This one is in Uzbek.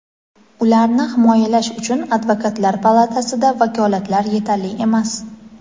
ularni himoyalash uchun Advokatlar palatasida vakolatlar yetarli emas.